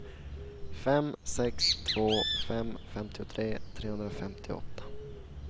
fem sex två fem femtiotre trehundrafemtioåtta